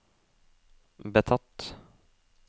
betatt